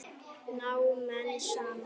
Ná menn saman?